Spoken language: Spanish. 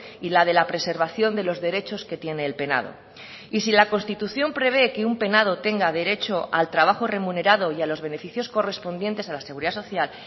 y la de la preservación de los derechos que tiene el penado y si la constitución prevé que un penado tenga derecho al trabajo remunerado y a los beneficios correspondientes a la seguridad social